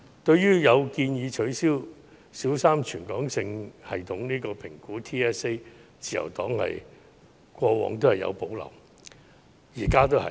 對於取消小三全港性系統評估的建議，自由黨過往和現在也有保留。